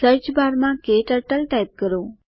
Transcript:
search બારમાં ક્ટર્ટલ type કરો